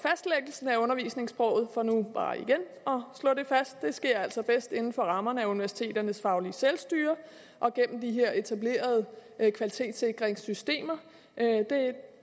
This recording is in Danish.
undervisningssproget for nu bare igen at slå det fast sker altså bedst inden for rammerne af universiteternes faglige selvstyre og gennem de her etablerede kvalitetssikringssystemer